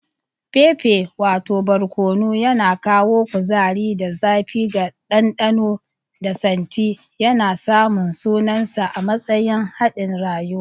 Pepper wato barkono, yana kawo kuzari da zafi ga dandano da santi, yana samun sunansa a matsayin hadin rayuwa.